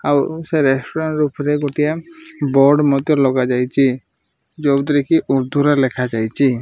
ଆଉ ସେ ରେଷ୍ଟୁରାଣ୍ଟ ଉପରେ ଗୋଟିଏ ବୋର୍ଡ ମଧ୍ଯ ଲଗାଯାଇଚି ଯେଉଁଥିରେ କି ଉର୍ଦ୍ଦୁରେ ଲେଖାଯାଇଛି।